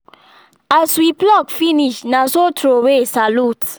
as we pluck finish na so throw way salute